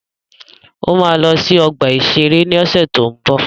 Ó ma lọ sí ọgbà-ìṣeré ni ọ̀sẹ̀ tó ń bọ̀